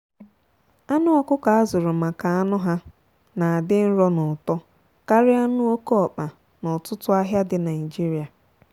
anụ ọkụkọ azụrụ maka anụ ha na adị nro n'ụtọ karịa anụ oke ọkpa na ọtụtụ ahịa dị naijiria.